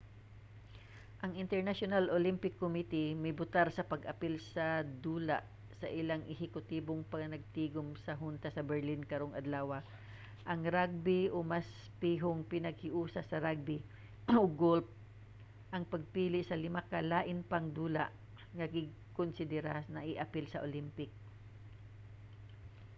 ang international olympic committee mibotar sa pag-apil sa dula sa ilang ehekutibong panagtigum sa hunta sa berlin karong adlawa. ang ragbi o mas pihong panaghiusa sa ragbi ug golf ang napili sa lima ka lain pang dula nga gikonsidera nga i-apil sa olympic